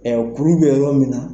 Ɛ kuru bɛ yɔrɔ min na.